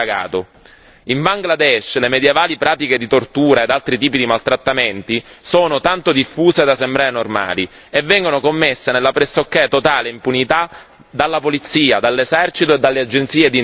In Bangladesh le medievali pratiche di tortura ed altri tipi di maltrattamenti sono tanto diffusi da sembrare normali e vengono commessi nella pressoché totale impunità dalla polizia, dall'esercito e dalle agenzie di intelligence.